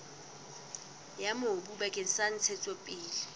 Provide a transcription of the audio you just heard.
ya mobu bakeng sa ntshetsopele